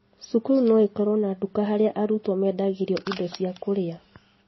Cukuru no ĩkorwo na nduka harĩa arutwo mendagĩrio indo cia kũrĩa